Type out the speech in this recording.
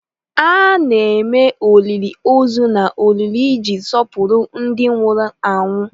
A na-eme olili ozu na olili iji sọpụrụ ndị nwụrụ anwụ.